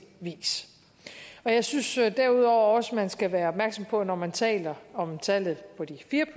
vis jeg synes derudover også man skal være opmærksom på at når man taler om tallet på de fire